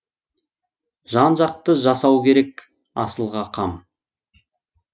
жан жақты жасау керек асылға қам